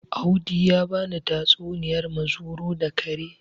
Audi ya bani tatsuniyar muzuru da kare